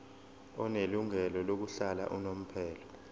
onelungelo lokuhlala unomphela